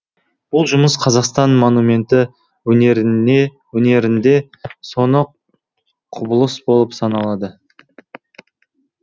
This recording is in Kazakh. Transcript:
бұл жұмыс қазақстан монументті өнерінде соны құбылыс болып саналады